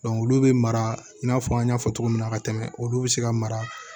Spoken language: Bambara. olu bɛ mara i n'a fɔ an y'a fɔ cogo min na ka tɛmɛ olu bi se ka mara